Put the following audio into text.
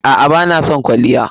A'a bana son kwalliya.